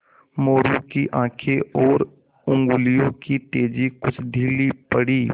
मोरू की आँखें और उंगलियों की तेज़ी कुछ ढीली पड़ी